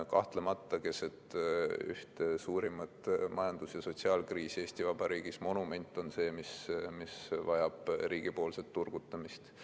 Kahtlemata on keset ühte suurimat majandus- ja sotsiaalkriisi Eesti Vabariigis monument see, mis vajab riigi turgutust.